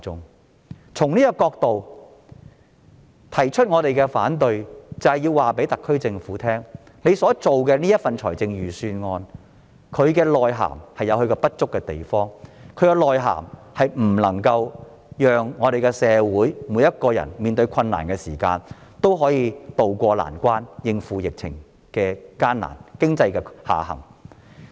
我們從這個角度提出反對，要告訴特區政府，他們所制訂的預算案有不足之處，不能讓社會上每一個人在面對困難時渡過難關，應付疫情下的困境及經濟下行的情況。